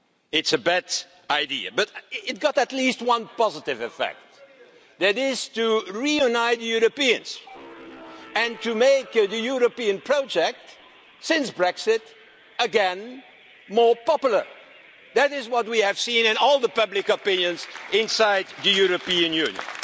It's a bad idea, but it has at least one positive effect, and that is to reunite Europeans and to make the European project, since Brexit, more popular again. That is what we have seen in all the public opinion inside the European Union.